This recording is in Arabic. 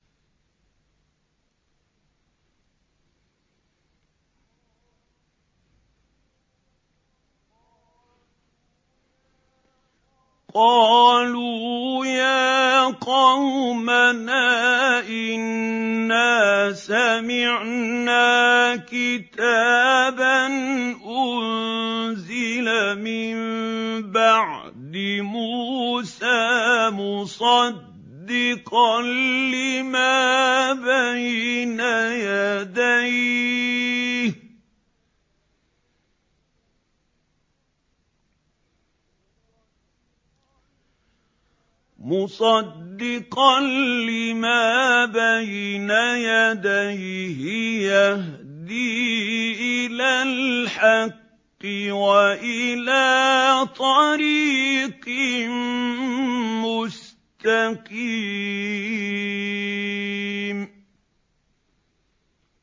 قَالُوا يَا قَوْمَنَا إِنَّا سَمِعْنَا كِتَابًا أُنزِلَ مِن بَعْدِ مُوسَىٰ مُصَدِّقًا لِّمَا بَيْنَ يَدَيْهِ يَهْدِي إِلَى الْحَقِّ وَإِلَىٰ طَرِيقٍ مُّسْتَقِيمٍ